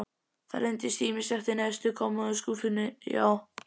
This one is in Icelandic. Það leynist ýmislegt í neðstu kommóðuskúffunni, já.